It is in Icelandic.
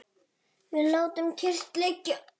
Við látum kyrrt liggja